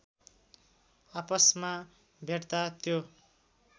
आपसमा भेट्दा त्यो